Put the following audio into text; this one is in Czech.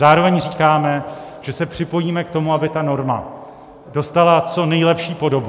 Zároveň říkáme, že se připojíme k tomu, aby ta norma dostala co nejlepší podobu.